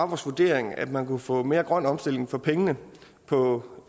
vurdering at man kunne få mere grøn omstilling for pengene på